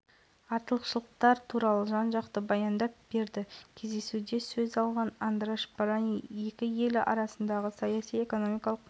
облысы мен венгрия елінің арасында сауда экономикалық мәдени гуманитарлық байланыстар нығая түсетініне сенімдімін деді жансейіт